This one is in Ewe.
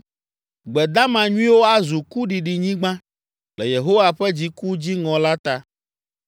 Gbe dama nyuiwo azu kuɖiɖinyigba le Yehowa ƒe dziku dziŋɔ la ta.